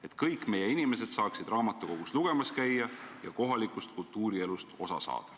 Et kõik meie inimesed saaksid raamatukogus lugemas käia ja kohalikust kultuurielust osa saada.